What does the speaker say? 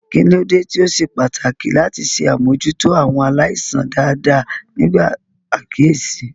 Kí ló dé tí ó ṣe pàtàkì láti ṣe àmójútó àwọn aláìsàn dáadáa nígbà àkíyèsí?